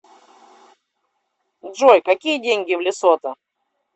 джой какие деньги в лесото